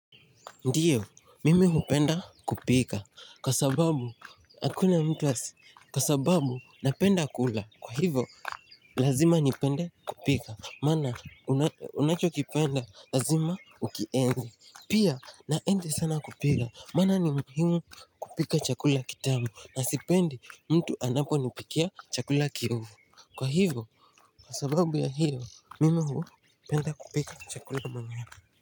Ndiyo mimi hupenda kupika kwa sababu hakuna mtu asi kwa sababu napenda kula kwa hivyo lazima nipende kupika maana unachokipenda lazima ukienzi pia naenzi sana kupila maana ni muhimu kupika chakula kitamu na sipendi mtu anaponipikia chakula kiovuu kwa hivyo kwa sababu ya hiyo mimi hupenda kupika chakula mwenyewe.